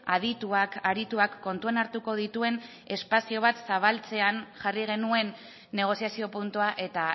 adituak arituak kontuan hartuko dituen espazio bat zabaltzean jarri genuen negoziazio puntua eta